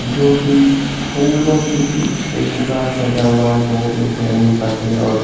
जो कि फूलों की म्म से पूरा सजा हुआ है। बोहोत ही अच्छे रंगीन पर्दे और --